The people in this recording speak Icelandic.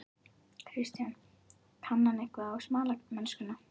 Kristján: Kann hann eitthvað á smalamennskuna?